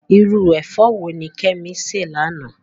Irú ẹ̀fọ́ wo ni Kemi sè lánàá?